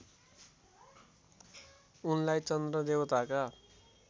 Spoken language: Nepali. उनलाई चन्द्र देवताका